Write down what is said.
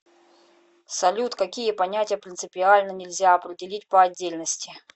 салют какие понятия принципиально нельзя определить по отдельности